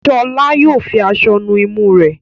Shola Yóò fí aṣọ nù imú re.